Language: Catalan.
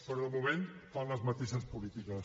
però de moment fan les mateixes polítiques